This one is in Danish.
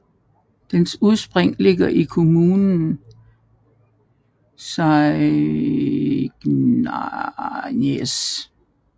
Dens udspring ligger i kommunen Soignies